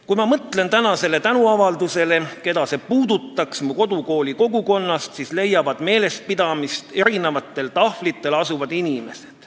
Kui ma mõtlen tänasele tänuavaldusele ja sellele, keda see mu kodukooli kogukonnast puudutaks, siis leiavad meelespidamist tahvlitel olevad inimesed.